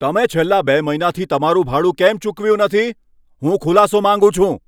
તમે છેલ્લા બે મહિનાથી તમારું ભાડું કેમ ચૂકવ્યું નથી? હું ખુલાસો માંગું છું.